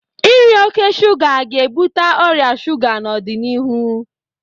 Iri oke shuga ga-ebute ọrịa shuga n'ọdịnihu